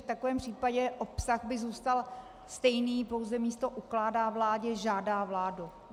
V takovém případě by obsah zůstal stejný, pouze místo "ukládá vládě" "žádá vládu".